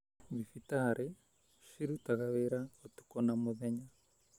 Dhibitarĩ cirutaga wĩra ũtukũ na mũthenya.